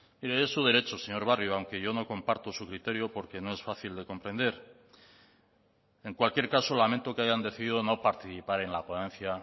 mire es su derecho señor barrio aunque yo no comparto su criterio porque no es fácil de comprender en cualquier caso lamento que hayan decidido no participar en la ponencia